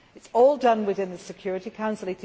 it. It is all done within the Security